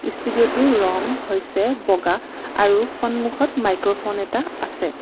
ষ্টুডিঅটোৰ ৰং হৈছে বগা আৰু সন্মুখত মাইক্ৰফোন এটা আছে।